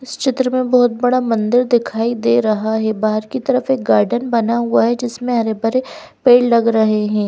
इस चित्र में बहोत बड़ा मंदिर दिखाई दे रहा है बाहर की तरफ एक गार्डन बना हुआ है जिसमें हरे भरे पेड़ लग रहे हैं।